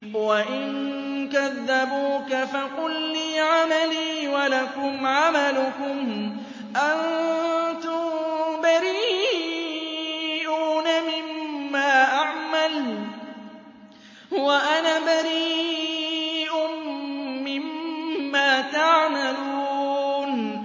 وَإِن كَذَّبُوكَ فَقُل لِّي عَمَلِي وَلَكُمْ عَمَلُكُمْ ۖ أَنتُم بَرِيئُونَ مِمَّا أَعْمَلُ وَأَنَا بَرِيءٌ مِّمَّا تَعْمَلُونَ